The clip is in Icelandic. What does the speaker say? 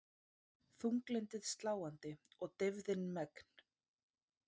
Þunglyndið sláandi og deyfðin megn.